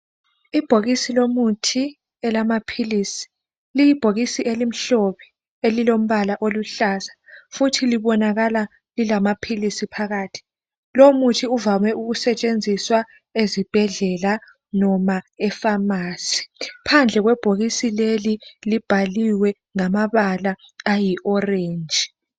Ibhokisi lomuthi elamaphilisi liyibhokisi elimhlophe elilombala oluhlaza futhi libonakala lilamaphilisi phakathi. Lomuthi uvame ukusetshenziswa ezibhedlela noma efamasi. Phandle kwebhokisi leli libhaliwe ngamabala ayi-orenji.